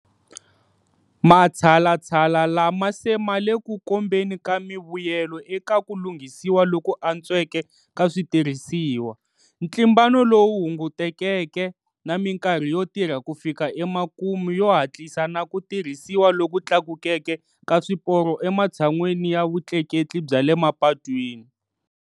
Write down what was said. Matshalatshala lama se ma le ku kombeni ka mivuyelo eka ku lunghisiwa loku antsweke ka switirhisiwa, ntlimbano lowu hungutekeke, na mikarhi yo tirha ku fika emakumu yo hatlisa na ku tirhisiwa loku tlakukeke ka swiporo ematshan'weni ya vutleketli bya le mapatwini.